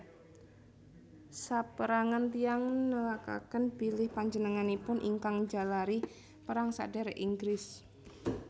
Sapérangan tiyang nelakaken bilih panjenenganipun ingkang njalari Perang Sadhèrèk Inggris